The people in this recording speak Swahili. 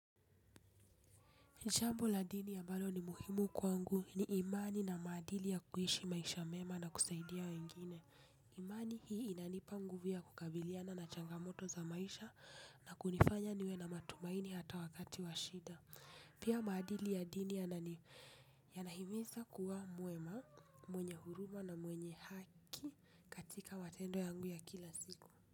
Jambo la dini ambalo ni muhimu kwangu ni imani na maadili ya kuishi maisha mema na kusaidia wengine. Imani hii, inanipa nguvu ya kukabiliana na changamoto za maisha na kunifanya niwe na matumaini hata wakati washida. Pia maadili ya dini yanahimiza kuwa mwema, mwenye huruma na mwenye haki. Atika matendo yangu ya kila siku.